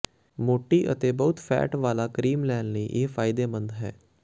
ਮੋਟੀ ਅਤੇ ਬਹੁਤ ਫੈਟ ਵਾਲਾ ਕਰੀਮ ਲੈਣ ਲਈ ਇਹ ਫਾਇਦੇਮੰਦ ਹੈ